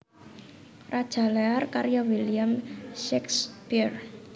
Raja Lear karya William Shakespeare